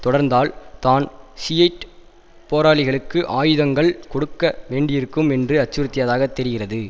தொடர்ந்தால் தான் ஷியைட் போராளிகளுக்கு ஆயுதங்கள் கொடுக்க வேண்டியிருக்கும் என்று அச்சுறுத்தியதாக தெரிகிறது